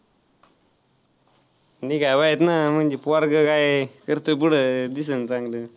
निघाय पाहिजेत ना म्हणजे पोरगं काय करत पुढं दिसल चांगलं.